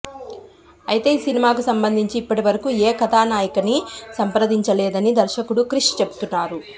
అయితే ఈ సినిమాకి సంబంధించి ఇప్పటివరకూ ఏ కథా నాయికనీ సంప్రదించలేదని దర్శకుడు క్రిష్ చెబుతున్నారు